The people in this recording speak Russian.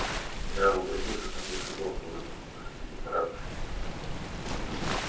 генерал обратился ко мне и сказал с улыбкою господин прапорщик